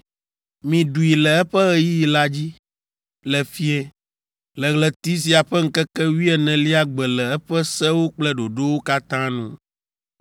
Miɖui le eƒe ɣeyiɣi la dzi, le fiẽ, le ɣleti sia ƒe ŋkeke wuienelia gbe le eƒe sewo kple ɖoɖowo katã nu.”